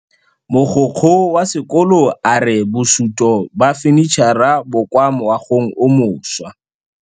Mogokgo wa sekolo a re bosutô ba fanitšhara bo kwa moagong o mošwa.